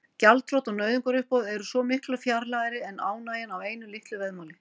Gjaldþrot og nauðungaruppboð eru svo miklu fjarlægari en ánægjan af einu litlu veðmáli.